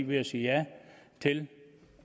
ved at sige ja til